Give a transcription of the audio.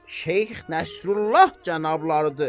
Şeyx Nəsrullah cənablarıdır.